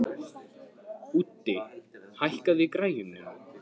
Úddi, hækkaðu í græjunum.